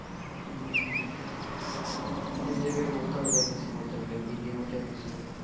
অনেক জায়গা উধাও হয়ে গেছে বলতে গেলে building উঠে গেছে.